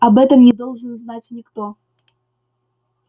об этом не должен знать никто